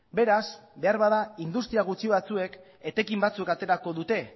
beraz beharbada industria gutxi batzuek etekin batzuk aterako dute